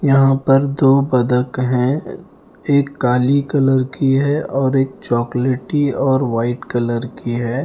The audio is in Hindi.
यहाँ पर दो बदक है एक काली कलर की है और एक चॉकलेटी और वाइट कलर की है।